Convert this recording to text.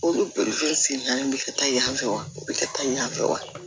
Olu sen naani bɛ kɛ ta yan fɛ wa o bɛ kɛ taa yan fɛ wa